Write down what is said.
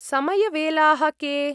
समयवेलाः के?